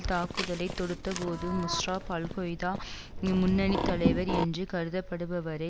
தாக்குதலை தொடுத்தபோது முஷ்ராப் அல்கொய்தா முன்னணி தலைவர் என்று கருதப்படுபவரை